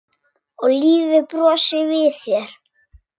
Og lífið brosir við þér!